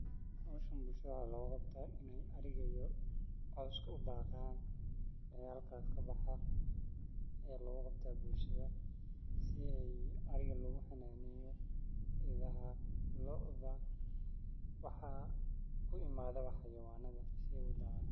Waxaa isku imadha waxaa logu qabtaa bulshaada waxaa ee rawan ayey ka helan wana ee halka kabaxa waxaa hada laarkaya ini miid kamiid ah diyarinyo cunto oo lasiyo iyo dadka wawena cunan.